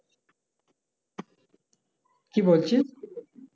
কি বলছিস?